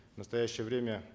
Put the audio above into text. в настоящее время